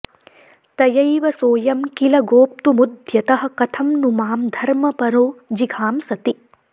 तयैव सोऽयं किल गोप्तुमुद्यतः कथं नु मां धर्मपरो जिघांसति